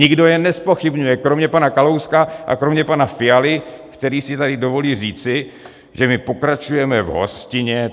Nikdo je nezpochybňuje kromě pana Kalouska a kromě pana Fialy, který si tady dovolí říci, že my pokračujeme v hostině.